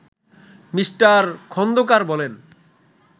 me: Khandakar বলেন